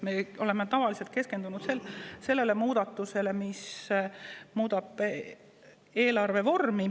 Me oleme tavaliselt keskendunud sellele muudatusele, mis muudab eelarve vormi.